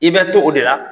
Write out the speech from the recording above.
I bɛ to o de la